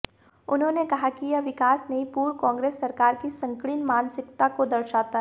उन्होंने कहा कि यह विकास नहीं पूर्व कांग्रेस सरकार की संकीर्ण मानसिकता को दर्शाता है